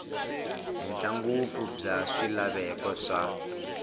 henhla ngopfu bya swilaveko swa